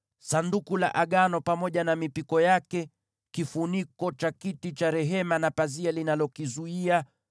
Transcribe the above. Sanduku la Agano pamoja na mipiko yake, kifuniko cha kiti cha rehema na pazia linalokizuia;